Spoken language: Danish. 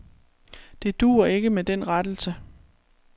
Det duer ikke med den rettelse.